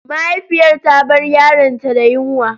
Mahaifiyar ta bar yaronta da yunwa.